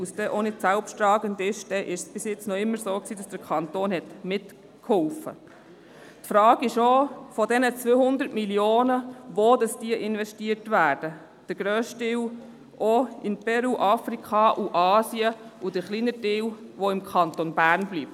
Bei den 200 Mio. Franken stellt sich auch die Frage, wo diese investiert werden, ob der grösste Teil in Peru, Afrika und Asien investiert wird und der der kleinere Teil im Kanton Bern bleibt.